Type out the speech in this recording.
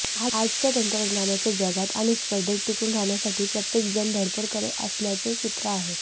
आजच्या तंत्रज्ञानाच्या जगात आणि स्पर्धेत टिकून राहण्यासाठी प्रत्येक जण धडपड करत असल्याचे चित्र आहे